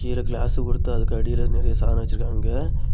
கீழ கிளாஸ் குடுத்து அதுக்கு அடியில நெறைய சாதனம் வச்சிருக்காங்க.